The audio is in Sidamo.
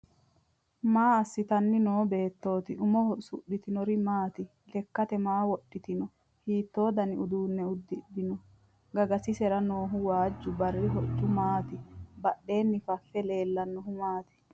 Maa assitanni noo beettooti? Umoho usu'ritinori maati? Lekkate maa wodhitinno? Hiittoo dani uduunne uddi'rino? Gagasisera noohu waajju barri hocci maati? Badheenni fafe leellannohu maati?